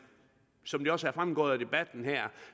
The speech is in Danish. som det også er fremgået af debatten her